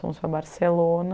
Fomos para Barcelona.